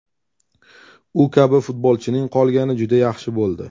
U kabi futbolchining qolgani juda yaxshi bo‘ldi.